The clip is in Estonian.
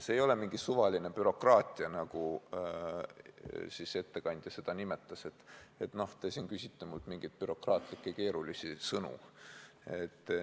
See ei ole mingisugune suvaline bürokraatia, nagu ettekandja seda nimetas, öeldes, et noh, te siin küsite minult mingisuguseid keerulisi bürokraatlikke sõnu.